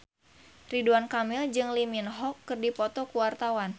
Ridwan Kamil jeung Lee Min Ho keur dipoto ku wartawan